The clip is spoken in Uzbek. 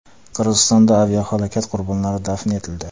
Qirg‘izistonda aviahalokat qurbonlari dafn etildi.